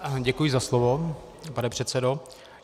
Děkuji za slovo, pane předsedo.